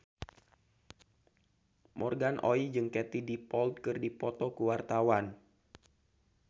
Morgan Oey jeung Katie Dippold keur dipoto ku wartawan